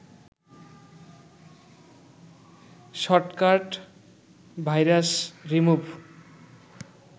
shortcut virus remove